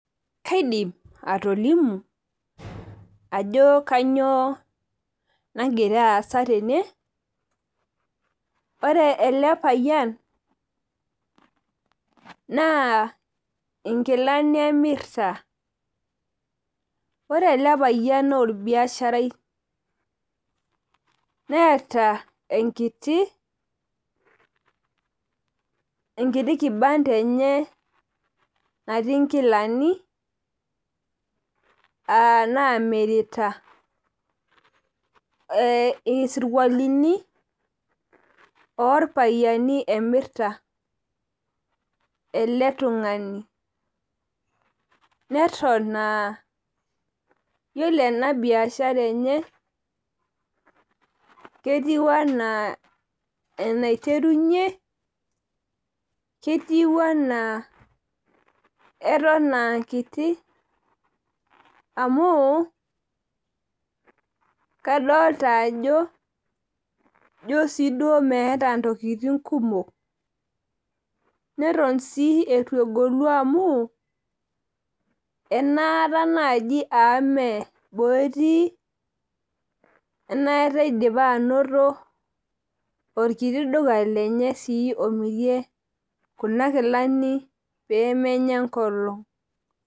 kaidim atolimu ajo kanyioo nagira asa tene, ore ele payian naa inkilani emirita, ore ele payian naa olbiasharai. neeta enkiti kibanda enye natii inkilani naamirita, isikualini oo ilpapaaini emirta oo ilpaapaini emirta ele tung'ani neton aa ore enabiashara enye ketiu anaa enaiterunye , ketiu enaa eton aa kiti amu kadolta ajo ijo sii duo emeeta intokitin kumok neton sii etu egolu amu enaata naaji aa ime boo etii ena kata idipa anoto olkiti duka lenye omirie kuna kilani pee menya enkolong'.